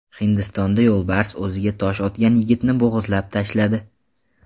Hindistonda yo‘lbars o‘ziga tosh otgan yigitni bo‘g‘izlab tashladi.